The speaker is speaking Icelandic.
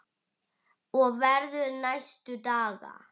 Erla: Og verður næstu daga?